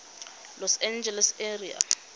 los angeles area